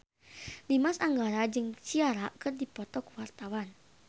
Dimas Anggara jeung Ciara keur dipoto ku wartawan